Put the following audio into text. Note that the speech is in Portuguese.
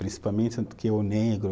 Principalmente o negro